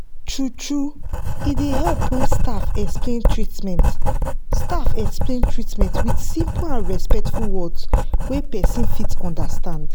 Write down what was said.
true-true e dey help when staff explain treatment staff explain treatment with simple and respectful words wey person fit understand.